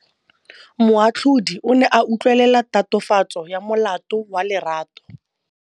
Moatlhodi o ne a utlwelela tatofatsô ya molato wa Lerato.